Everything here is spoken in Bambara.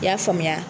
I y'a faamuya